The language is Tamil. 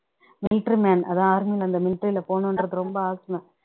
military man அதான் army லே அந்த military லே போகணுன்னு ரொம்ப ஆசையாம்